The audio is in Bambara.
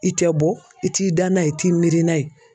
I tɛ bɔ i t'i da n'a ye i t'i miiri n'a ye.